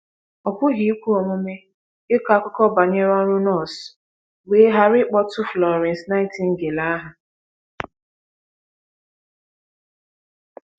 Ọ pụghị ikwe omume ịkọ akụkọ banyere ọrụ nọọsụ wee ghara ịkpọtụ Florence Nightingale aha..